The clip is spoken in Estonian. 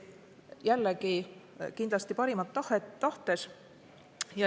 Jällegi kindlasti parimat tahtes.